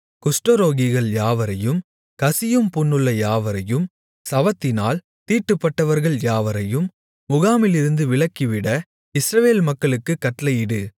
குஷ்டரோகிகள் யாவரையும் கசியும் புண்ணுள்ள யாவரையும் சவத்தினால் தீட்டுப்பட்டவர்கள் யாவரையும் முகாமிலிருந்து விலக்கிவிட இஸ்ரவேல் மக்களுக்கு கட்டளையிடு